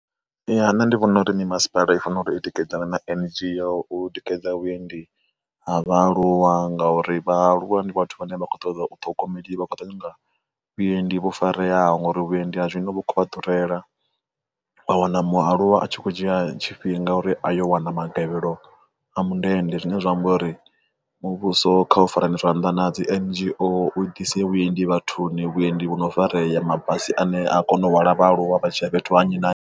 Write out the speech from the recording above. Ya nṋe ndi vhona uri ni masipala i fanela u i tikedzana na N_G_O u tikedza vhuendi ha vha aluwa ngauri vhaaluwa ndi vhathu vhane vha kho ṱoḓa u ṱhogomeli vha khou tou nyanga vhuendi vho fareaho ngori vhuendi ha zwino vho kha durela, wa wana mualuwa a tshi khou dzhia tshifhinga uri a yo wana magavhelo a mundende zwine zwa amba uri muvhuso kha u farane zwanḓa na dzi N_G_O u ḓise vhuendi vhathuni vhuendi vhono farea mabasi ane a kona u hwala vhaaluwa vha tshi ya fhethu ha nnyi na nnyi.